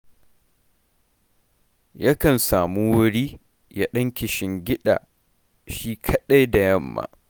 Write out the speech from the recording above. Yakan samu wuri, ya ɗan kishingiɗa shi kaɗai da yamma